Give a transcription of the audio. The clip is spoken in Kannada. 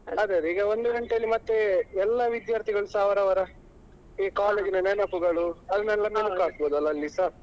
ಅದೇ ಅದೇ ಈಗ ಒಂದು ಗಂಟೆಯಲ್ಲಿ ಮತ್ತೆ ಎಲ್ಲ ವಿದ್ಯಾರ್ಥಿಗಳುಸ ಅವರವರ ಈ college ನ ನೆನಪುಗಳು ಅದನ್ನೆಲ್ಲಾ ಮೆಲುಕು ಹಾಕ್ಬಹುದಲ್ವಾ ಅಲ್ಲಿಸ.